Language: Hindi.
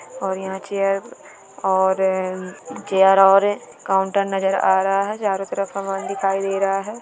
और यहाँ चेयर और चेयर और काउन्टर नजर आ रहा है चारों तरफ समान दिखाई दे रहा है।